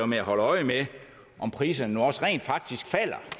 med at holde øje med om priserne nu også rent faktisk falder